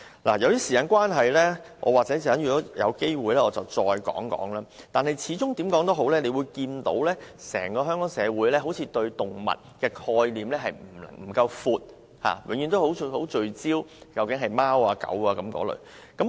由於時間關係，稍後如有機會，我會再談論此事。但是，無論如何，整個香港社會好像對動物的概念不夠廣，永遠只是聚焦於貓和狗。